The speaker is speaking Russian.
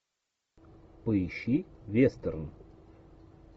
поищи вестерн